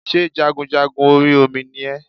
Sé jagunjagun orí Omi ni ẹ́